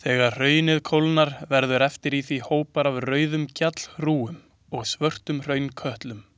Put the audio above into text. Þegar hraunið kólnar verða eftir í því hópar af rauðum gjallhrúgum og svörtum hraunkötlum.